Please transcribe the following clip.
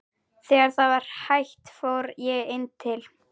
Þegar það var hætt fór ég inn til